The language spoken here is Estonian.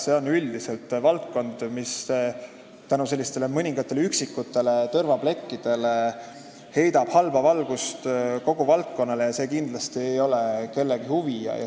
See on üldiselt valdkond, mis tänu mõningatele üksikutele tõrvaplekkidele heidab halba valgust kogu valdkonnale, ja see kindlasti ei ole kellegi huvi.